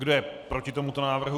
Kdo je proti tomuto návrhu?